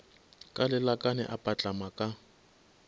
ka lelakane a patlama ka